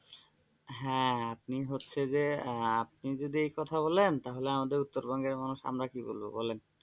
হ্যাঁ আপনি হচ্ছে যে আপনি যদি এই কথা বলেন তাহলে আমাদের উত্তরবঙ্গের মানুষ আমার কি বলব বলেন?